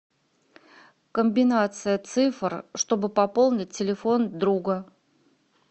комбинация цифр чтобы пополнить телефон друга